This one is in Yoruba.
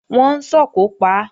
Wọ́n ń sòkò pa á